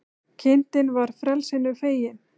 Kindin var frelsinu fegin